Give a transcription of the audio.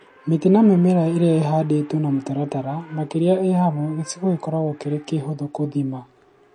Mĩtĩ na mĩmera ĩrĩa ĩhandĩtwo na mutaratara , makĩria ĩri hamwe; gĩcigo gĩkoragwo kĩrĩ kĩhũthũ gũthima